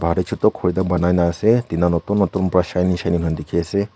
aru chutu ekta ghor banai na ase tina notun notun para shining shining kurina dekhi ase.